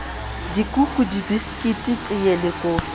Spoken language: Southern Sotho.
dikuku dibiskiti teye le kofi